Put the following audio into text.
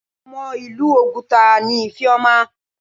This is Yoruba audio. Ọmọ ìlú oguta ni Ifeoma.